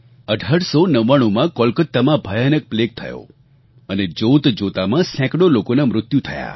1899માં કોલકાતામાં ભયાનક પ્લેગ થયો અને જોતજોતામાં સેંકડો લોકોનાં મૃત્યુ થયાં